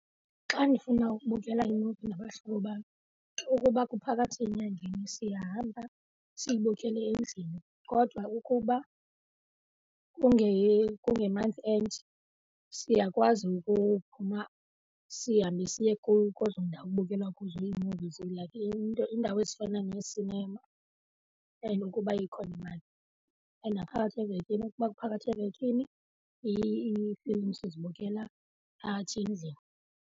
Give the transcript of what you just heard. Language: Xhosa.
Xa ndifuna ukubukela imuvi nabahlobo bam ukuba kuphakathi enyangeni siyahamba siyibukele endlini kodwa ukuba kunge-month end siyakwazi ukuphuma sihambe siye kwezo ndawo kubukelwa kuzo ii-movies like into iindawo ezifana neesinema and ukuba ikhona imali. And naphakathi evekini, ukuba kuphakathi evekini iifilimu sizibukela phakathi endlini.